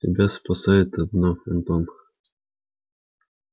тебя спасает одно антон